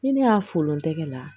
Ni ne y'a folon tɛgɛ la